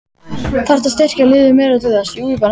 Þarftu að styrkja liðið meira til þess?